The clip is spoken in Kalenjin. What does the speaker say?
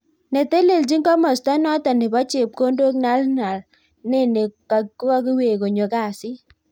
Netelechin komasta notok nebo chepkondok Nhlanhla Nene kakiwek konyo kasit .